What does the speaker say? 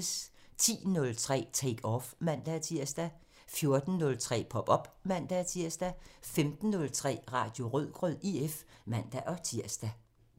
10:03: Take Off (man-tir) 14:03: Pop op (man-tir) 15:03: Radio Rødgrød IF (man-tir)